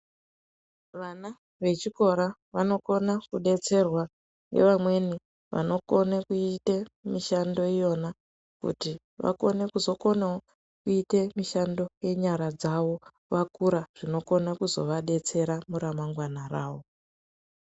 Vana vechikora vanokona kudetserwa nevamweni vanokone kuyita mishando yona, kuti vakone kuzokonawo kuyite mishando yenyara dzawo, vakura zvinokona kuzovadetsera muramangwana ravo.